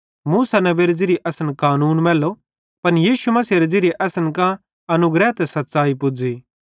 मूसा नेबेरे ज़िरिये असन कानून मैल्लो पन यीशु मसीहेरे ज़िरिये असन कां परमेशरे करां अनुग्रह ते सच़्च़ाई पुज़्ज़ी